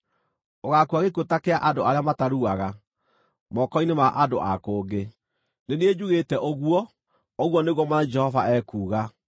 Ũgaakua gĩkuũ ta kĩa andũ arĩa mataruaga, moko-inĩ ma andũ a kũngĩ. Nĩ niĩ njugĩte ũguo, ũguo nĩguo Mwathani Jehova ekuuga.’ ”